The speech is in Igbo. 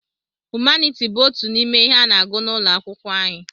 Humaniti bụ otú n'ime ihe a n'agụ n'ụlọ akwụkwọ anyị.